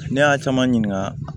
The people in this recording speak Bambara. Ne y'a caman ɲininka